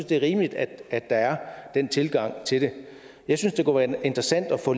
det er rimeligt at der er den tilgang til det jeg synes det kunne være interessant at få